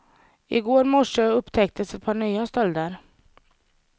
I går morse upptäcktes ett par nya stölder.